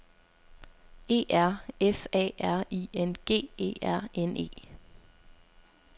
E R F A R I N G E R N E